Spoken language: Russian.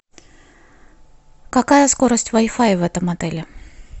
какая скорость вай фая в этом отеле